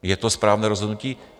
Je to správné rozhodnutí?